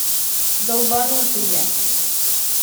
долбанутые